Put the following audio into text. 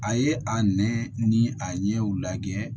A ye a nɛ ni a ɲɛw lajɛ